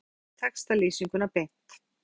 Smelltu hér til að sjá textalýsinguna beint